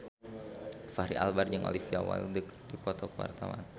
Fachri Albar jeung Olivia Wilde keur dipoto ku wartawan